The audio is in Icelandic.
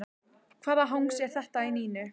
Hvaða hangs er þetta í Nínu?